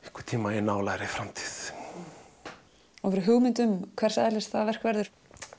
einhvern tímann í nálægri framtíð hefurðu hugmynd um hvers eðlis það verk verður